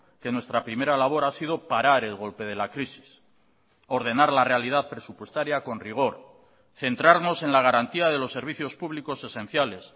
que nuestra primera labor ha sido parar el golpe de la crisis ordenar la realidad presupuestaria con rigor centrarnos en la garantía de los servicios públicos esenciales